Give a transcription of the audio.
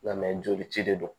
Nga mɛ joli ci de don